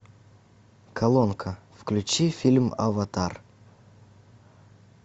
колонка включи фильм аватар